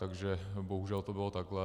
Takže bohužel to bylo takhle.